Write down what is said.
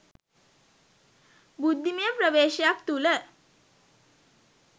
බුද්ධිමය ප්‍රවේශයක් තුළ